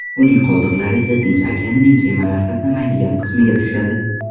Uning qoldiqlari esa Tinch okeanining kemalar qatnamaydigan qismiga tushadi.